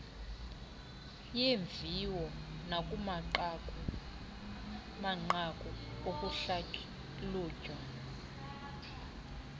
yeemviwo nakumanqaku okuhlalutya